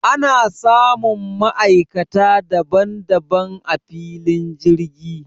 Ana samun ma'aikata daban daban a filin jirgi